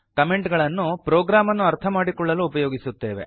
comment ಗಳನ್ನು program ಅನ್ನು ಅರ್ಥ ಮಾಡಿಕೊಳ್ಳಲು ಉಪಯೋಗಿಸುತ್ತೇವೆ